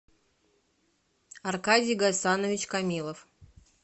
аркадий гайсанович камилов